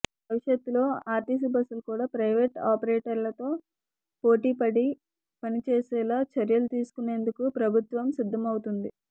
భవిష్యత్లో ఆర్టీసీ బస్సులు కూడా ప్రైవేట్ ఆపరేటర్లతో పోటీపడి పనిచేసేలా చర్యలు తీసుకునేందుకు ప్రభుత్వం సిద్ధమవుతోంది